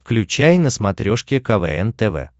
включай на смотрешке квн тв